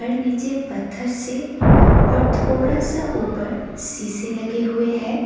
नीचे पत्थर से और थोड़ा सा ऊपर शीशे लगे हुए हैं।